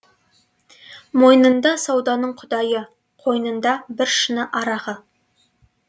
мойнында сауданың құдайы қойнында бір шыны арағы